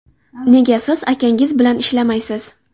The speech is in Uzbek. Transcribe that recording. Nega siz akangiz bilan ishlamaysiz?